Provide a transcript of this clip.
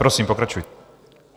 Prosím pokračujte.